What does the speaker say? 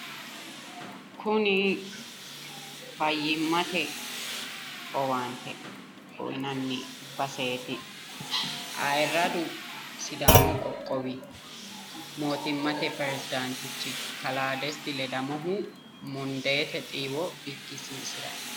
kuni fayyimate owaante uyiinanni baseeti ayiiradu sidaamu qoqowi mootimmate piredaantichi kalaa desti ledamohu mundeete xiiwo bikkisiisiranni no.